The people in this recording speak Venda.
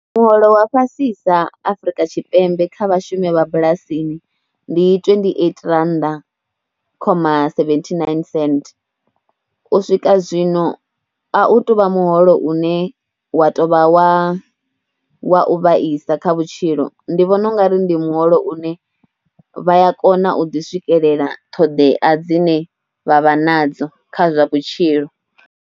Muholo wa fhasisa Afrika Tshipembe kha vhashumi vha bulasini ndi twendi eiti rannda khoma seventhi naini senthe u swika zwino a u tou vha muholo une wa tou vha wa wa u vhaisa kha vhutshilo. ndi vhona u nga ri ndi muholo une vha ya kona u ḓi swikelela ṱhodea dzine vha vha nadzo kha zwa vhutshilo.